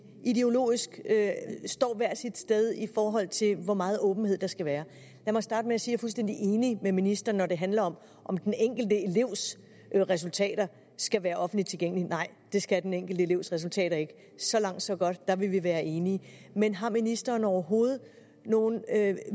ideologisk står hver sit sted i forhold til hvor meget åbenhed der skal være lad mig starte med at sige fuldstændig enig med ministeren når det handler om om den enkelte elevs resultater skal være offentligt tilgængelige nej det skal den enkelte elevs resultater ikke så langt så godt der vil vi være enige men har ministeren overhovedet nogen